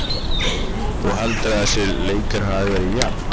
Þú heldur að þessi leikur hafi verið jafn?